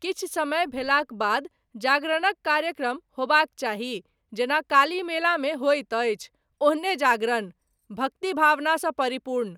किछु समय भेलाक बाद जागरणक कार्यक्रम होयबाक चाही जेना काली मेलामे होइत अछि ओहने जागरण, भक्तिभावनासँ परिपूर्ण।